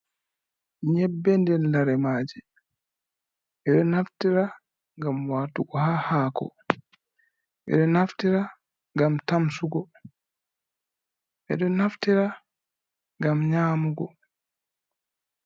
Nyebbe nden lare maaje. Ɓeɗo naftira ngam watugo ha haako, ɓeɗo naftira ngam tamsugo, ɓeɗo naftira ngam nyamugo.